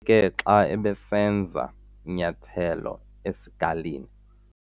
ke xa ebesenza inyathelo esikalini.